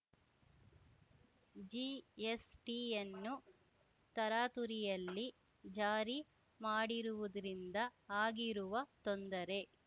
ಜಿಎಸ್‌ಟಿಯನ್ನು ತರಾತುರಿಯಲ್ಲಿ ಜಾರಿ ಮಾಡಿರುವುದ್ರಿಂದ ಆಗಿರುವ ತೊಂದರೆ